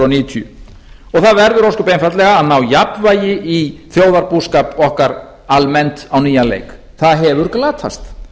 níutíu og það verður ósköp einfaldlega að ná jafnvægi í þjóðarbúskap okkar almennt á nýjan leik það hefur glatast